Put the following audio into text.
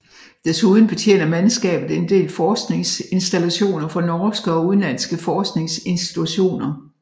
Desuden betjener mandskabet en del forskningsinstallationer for norske og udenlandske forskningsinstitutioner